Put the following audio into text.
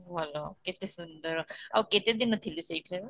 ଭଲ କେତେ ସୁନ୍ଦର ଆଉ କେତେ ଦିନ ଥିଲୁ ସେଠାରେ